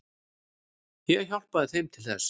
Ég hjálpaði þeim til þess.